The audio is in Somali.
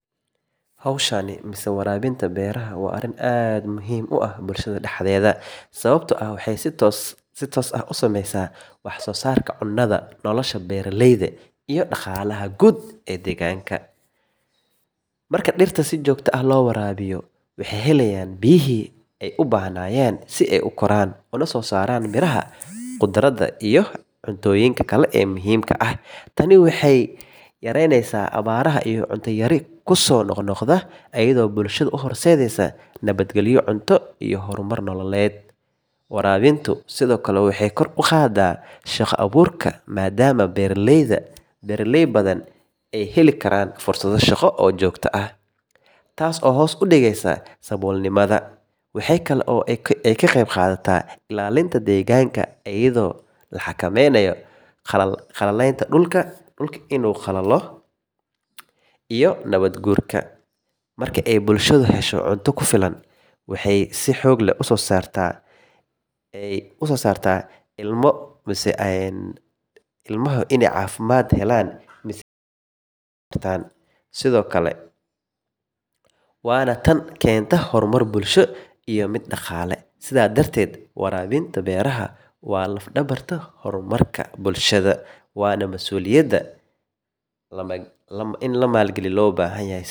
Waraabinta beeraha waa arrin aad muhiim u ah bulshada dhexdeeda sababtoo ah waxay si toos ah u saameysaa wax soo saarka cunnada, nolosha beeraleyda, iyo dhaqaalaha guud ee deegaanka. Marka dhirta si joogto ah loo waraabiyo, waxay helayaan biyihii ay u baahnaayeen si ay u koraan una soo saaraan miraha, khudradda iyo cuntooyinka kale ee muhiimka ah. Tani waxay yaraynaysaa abaaraha iyo cunto yari kusoo noqnoqda, iyadoo bulshada u horseedaysa nabadgalyo cunto iyo horumar nololeed. Waraabintu sidoo kale waxay kor u qaadaa shaqo abuurka maadaama beeraley badan ay heli karaan fursado shaqo oo joogto ah, taas oo hoos u dhigaysa saboolnimada. Waxaa kale oo ay ka qeyb qaadataa ilaalinta deegaanka, iyadoo la xakameynayo qalalaynta dhulka iyo nabaad guurka. Marka ay bulshadu hesho cunto ku filan oo tayo leh, caafimaadka dadka ayaa fiicnaada, carruurta si wanaagsan bay wax u bartaan, waana tan keenta horumar bulsho iyo mid dhaqaale. Sidaas darteed, waraabinta beeraha waa laf dhabarta horumarka bulshada, waana mas’uuliyad la wadaago oo u baahan qorsheyn iyo maalgashi si joogto ah loogu guuleysto.